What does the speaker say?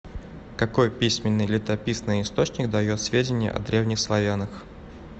какой письменный летописный источник дает сведения о древних славянах